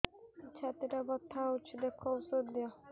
ଛାତି ଟା ବଥା ହଉଚି ଦେଖ ଔଷଧ ଦିଅ